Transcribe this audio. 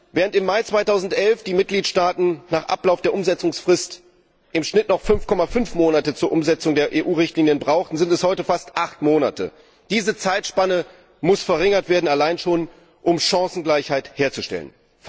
Während im Mai 2011 die Mitgliedstaaten nach Ablauf der Umsetzungsfrist im Schnitt noch 5,5 Monate zur Umsetzung der EU Richtlinien brauchten, sind es heute fast acht Monate. Diese Zeitspanne muss verringert werden, allein schon um Chancengleichheit herzustellen.